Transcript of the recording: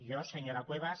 jo senyora cuevas